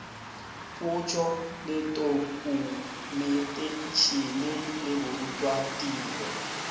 potšo le tokumeteišene le borutwatiro